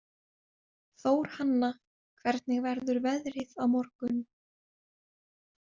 Þórhanna, hvernig verður veðrið á morgun?